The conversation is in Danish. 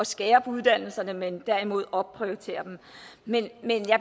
skære på uddannelserne men derimod opprioritere dem men